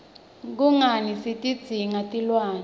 kungani sitidzinga tilwne